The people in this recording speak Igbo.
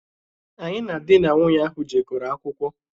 Anyị na dị na nwụnye ahụ jekoro akwụkwọ.